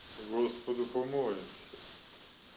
господи помолимся